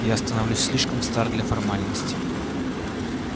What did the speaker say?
я становлюсь слишком стар для формальностей